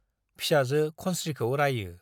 फिसाजो खनस्रीखौ रायो ।